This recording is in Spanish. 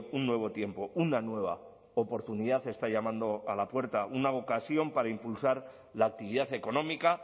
un nuevo tiempo una nueva oportunidad está llamando a la puerta una ocasión para impulsar la actividad económica